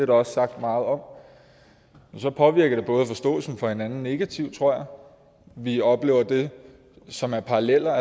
der også sagt meget om påvirker det både forståelsen for hinanden negativt tror jeg og vi oplever det som er paralleller